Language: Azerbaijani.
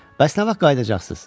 Bəs nə vaxt qayıdacaqsınız?